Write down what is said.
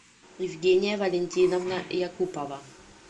евгения валентиновна якупова